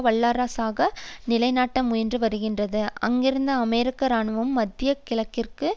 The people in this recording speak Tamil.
வல்லரசாக நிலைநாட்ட முயன்று வருகின்றது அங்கிருந்து அமெரிக்க இராணுவம் மத்திய கிழக்கிற்கும்